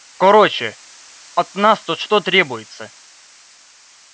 короче от нас-то что требуется